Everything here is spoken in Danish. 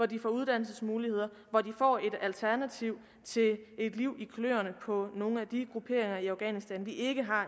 de har uddannelsesmuligheder hvor de får et alternativ til et liv i kløerne på nogle af de grupperinger i afghanistan vi ikke har